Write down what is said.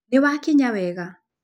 Nĩ mwakinya wega